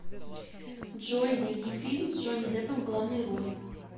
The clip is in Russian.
джой найди фильм с джони деппом в главной роли